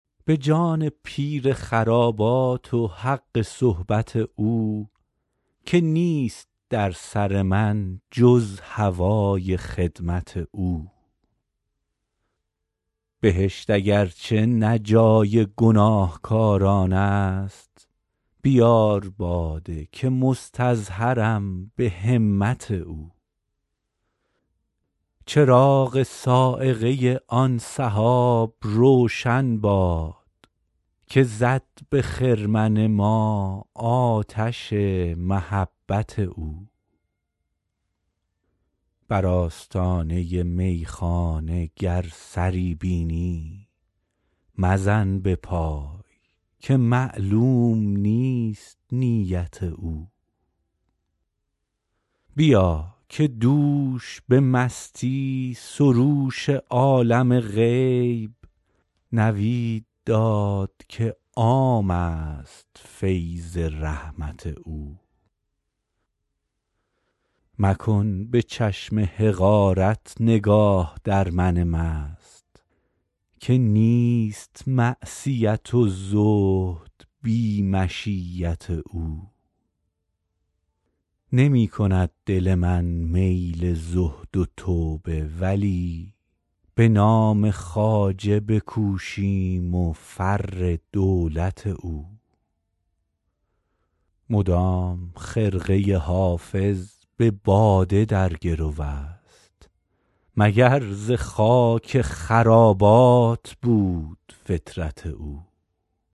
به جان پیر خرابات و حق صحبت او که نیست در سر من جز هوای خدمت او بهشت اگر چه نه جای گناهکاران است بیار باده که مستظهرم به همت او چراغ صاعقه آن سحاب روشن باد که زد به خرمن ما آتش محبت او بر آستانه میخانه گر سری بینی مزن به پای که معلوم نیست نیت او بیا که دوش به مستی سروش عالم غیب نوید داد که عام است فیض رحمت او مکن به چشم حقارت نگاه در من مست که نیست معصیت و زهد بی مشیت او نمی کند دل من میل زهد و توبه ولی به نام خواجه بکوشیم و فر دولت او مدام خرقه حافظ به باده در گرو است مگر ز خاک خرابات بود فطرت او